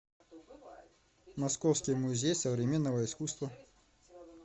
московский музей современного искусства